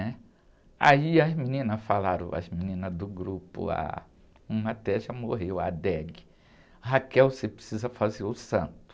né? Aí as meninas falaram, as meninas do grupo, ah, uma até já morreu, a,, você precisa fazer o santo.